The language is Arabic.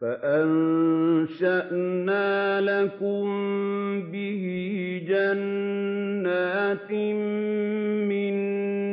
فَأَنشَأْنَا لَكُم بِهِ جَنَّاتٍ مِّن